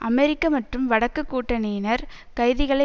அமெரிக்க மற்றும் வடக்குக் கூட்டணியினர் கைதிகளை